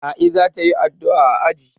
A'i za ta yi addu'a a aji.